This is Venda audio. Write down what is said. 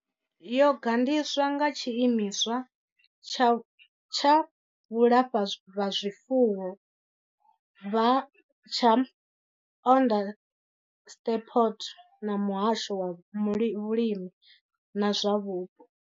Yo gandiswa nga tshiimiswa tsha vhulafhazwifuwo tsha Onderstepoort na muhasho wa vhulimi na zwa vhupo.